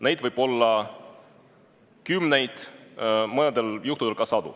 Neid võib olla kümneid, mõnel juhul ka sadu.